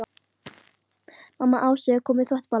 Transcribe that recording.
Mamma Ásu er að koma með þvott í bala.